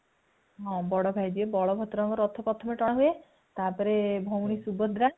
ହଁ ବଡ ଭାଇ ଯିଏ ବଳଭଦ୍ର ରଥ ଙ୍କ ରଥ ପ୍ରଥମେ ଟଣା ହୁଏ ତାପରେ ଭଉଣୀ ସୁଭଦ୍ରା